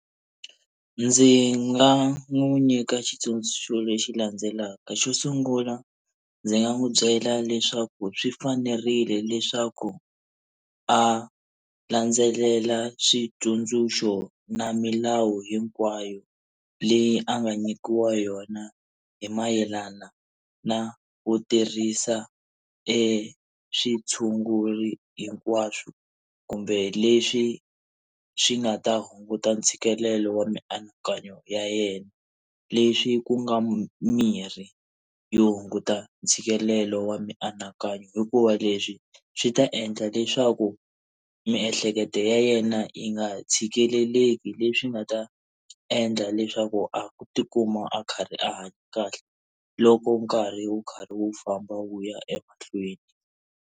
Ndzi nga n'wi nyika xitsundzuxo lexi landzelaka, xo sungula ndzi nga n'wi byela leswaku swi fanerile leswaku a landzelela switsundzuxo na milawu hinkwayo leyi a nga nyikiwa yona hi mayelana na ku tirhisa e xitshuri hinkwaswo, kumbe leswi swi nga ta hunguta ntshikelelo wa mianakanyo ya yena. Leswi ku nga mirhi yo hunguta ntshikelelo wa mianakanyo. Hikuva leswi swi ta endla leswaku miehleketo ya yena yi nga tshikeleleki leswi nga ta endla leswaku a tikuma a karhi a hanya kahle loko nkarhi wu karhi wu famba wu ya emahlweni.